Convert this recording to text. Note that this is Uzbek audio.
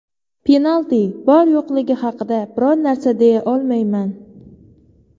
Penalti bor yo‘qligi haqida biror narsa deya olmayman.